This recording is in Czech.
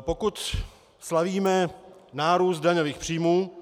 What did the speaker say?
Pokud slavíme nárůst daňových příjmů,